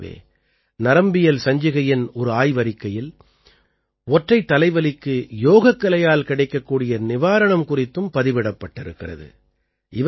இதைப் போலவே நரம்பியல் சஞ்சிகையின் ஒரு ஆய்வறிக்கையில் ஒற்றைத்தலைவலிக்கு யோகக்கலையால் கிடைக்கக்கூடிய நிவாரணம் குறித்தும் பதிவிடப்பட்டிருக்கிறது